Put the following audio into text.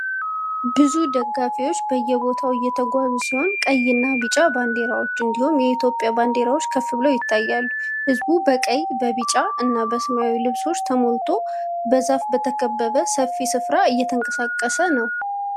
ብዙ ደጋፊዎች በየቦታው እየተጓዙ ሲሆን፣ ቀይ እና ቢጫ ባንዲራዎች እንዲሁም የኢትዮጵያ ባንዲራዎች ከፍ ብለው ይታያሉ። ህዝቡ በቀይ፣ ቢጫ እና ሰማያዊ ልብሶች ተሞልቶ በዛፍ በተከበበ ሰፊ ስፍራ እየተንቀሳቀሰ ነው።